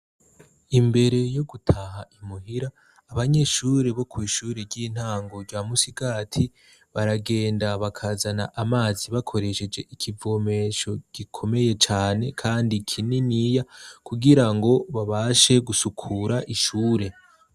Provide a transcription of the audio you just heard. Imbere yo gutaha i muhira, abanyeshure bo kw'ishure ry'intango rya Musigati baragenda bakazana amazi bakoresheje ikivomesho gikomeye cane kandi kininiya kugira ngo babashe gusukura ishure.